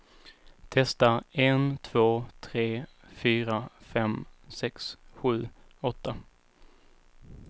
Testar en två tre fyra fem sex sju åtta.